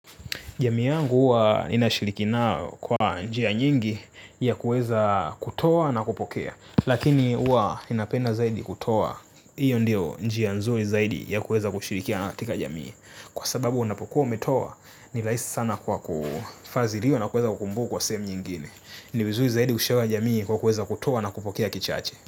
Jamii yangu huwa inashiriki nao kwa njia nyingi ya kuweza kutoa na kupokea. Lakini huwa inapenda zaidi kutoa. Iyo ndiyo njia nzuri zaidi ya kuweza kushirikiana katika jamii. Kwa sababu unapokuwa umetoa ni rahisi sana kwako bafazi liyo na kuweza kukumbu kwa same nyingine. Niwizui zaidi kushawa jamii kwa kuweza kutoa na kupokea kichache.